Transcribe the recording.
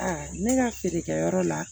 ne ka feerekɛyɔrɔ la